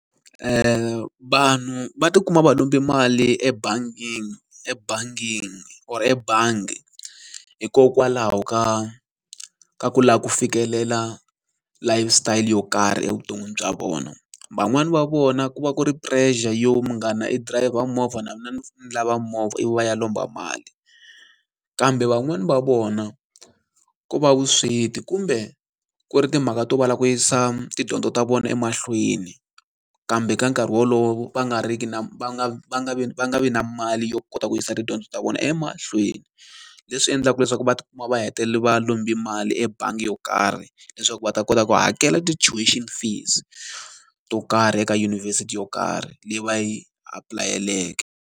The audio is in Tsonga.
Vanhu va ti kuma va lombe mali ebangini ebangini or ebangi, hikokwalaho ka ka ku lava ku fikelela life style yo karhi evuton'wini bya vona. Van'wani va vona ku va ku ri pressure yo munghana e dirayivha movha na mina ni ni lava movha, ivi va ya lomba mali. Kambe van'wani va vona ku va vusweti kumbe ku ri timhaka to va lava ku yisa tidyondzo ta vona emahlweni, kambe ka nkarhi wolowo va nga ri ki na va nga va nga vi va nga vi na mali yo kota ku yisa tidyondzo ta vona emahlweni. Leswi endlaka leswaku va ti kuma va hetelela va lombe mali ebangi yo karhi, leswaku va ta kota ku hakela ti-tuition fees to karhi eka yunivhesiti yo karhi leyi va yi apulayeleke.